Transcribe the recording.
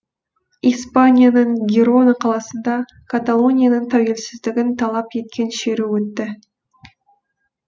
испанияның гирона қаласында каталонияның тәуелсіздігін талап еткен шеру өтті